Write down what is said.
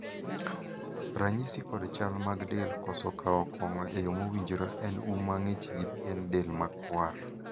ranyisi kod chal mag del koso kawo kong'o e yo mowinjore en um mang'ich gi pien del ma kwar